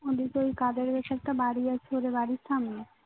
ওদের ওই একটা বাড়ি আছে ওদের বাড়ির সামনে